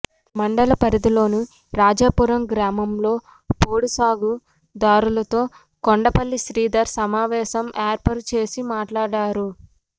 మండల పరిధిలోని రాజాపురం గ్రామంలో పొడు సాగు దారులుతో కొండపల్లి శ్రీధర్ సమావేశం ఏర్పారు చేసి మాట్లా డారు